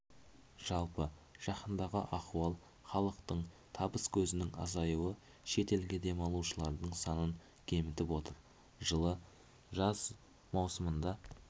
жалпы жаһандағы ахуал халықтың табыс көзінің азаюы шет елге демалушылардың санын кемітіп отыр жылы жаз маусымында